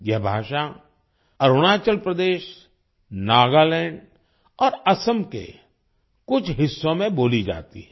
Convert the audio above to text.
यह भाषा अरुणाचल प्रदेश नागालैंड और असम के कुछ हिस्सों में बोली जाती है